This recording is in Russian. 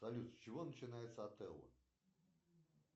салют с чего начинается отелло